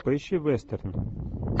поищи вестерн